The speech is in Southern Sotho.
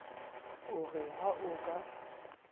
o re ha o ka